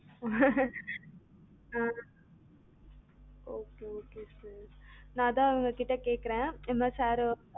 ஆஹ் okay okay sir நான் அதான் அவங்ககிட்ட கேக்குரேன் இந்த மாறி sir